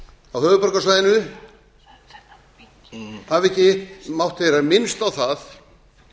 á höfuðborgarsvæðinu hafa ekki mátt heyra minnst á það